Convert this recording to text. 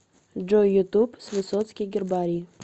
джой ютуб в с высоцкий гербарий